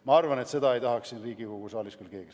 Ma arvan, et seda ei tahaks siin Riigikogu saalis küll keegi.